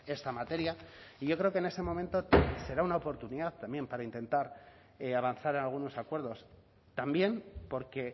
esta materia y yo creo que en ese momento será una oportunidad también para intentar avanzar en algunos acuerdos también porque